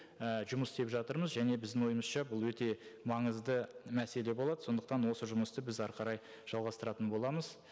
і жұмыс істеп жатырмыз және біздің ойымызша бұл өте маңызды мәселе болады сондықтан осы жұмысты біз әрі қарай жалғастыратын боламыз